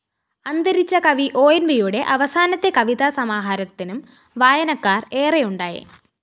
അന്തരിച്ച കവി ഒഎന്‍വിയുടെ അവസാനത്തെ കവിതാസമാഹാരത്തിനും വായനക്കാര്‍ ഏറെയുണ്ടായി